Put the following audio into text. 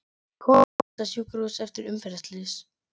Kona flutt á sjúkrahús eftir umferðarslys